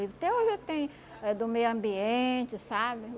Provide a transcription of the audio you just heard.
Até hoje eu tenho eh do meio ambiente, sabe?